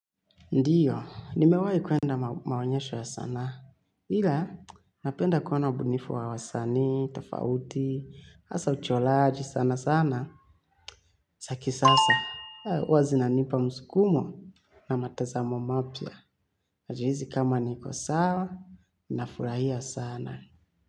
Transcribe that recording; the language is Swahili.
Ndiyo, nimewai kuenda maonyesho ya sanaa. Ila, napenda kuona ubunifu wa wasanii, tofauti, hasa uchoraji sana sana. Za kisasa, huwa zinanipa mskumo na matazamo mapya. Najihisi kama niko sawa, nafurahia sana.